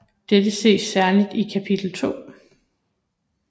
Dette ses særligt i kapitel 2